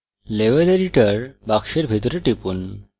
level editor box ভিতরে টিপুন